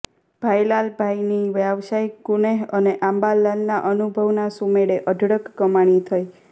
ભાઈલાલભાઈની વ્યવસાયિક કુનેહ અને અંબાલાલના અનુભવના સુમેળે અઢળક કમાણી થઈ